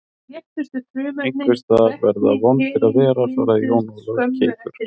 Einhvers staðar verða vondir að vera, svaraði Jón Ólafur keikur.